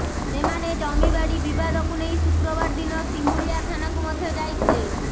ସେମାନେ ଜମିବାଡି ବିବାଦକୁ ନେଇ ଶୁକ୍ରବାର ଦିନ ସିମୁଳିଆ ଥାନାକୁ ମଧ୍ୟ ଯାଇଥିଲେ